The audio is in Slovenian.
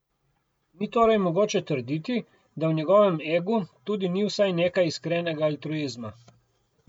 Ni torej mogoče trditi, da v njegovem egu tudi ni vsaj nekaj iskrenega altruizma.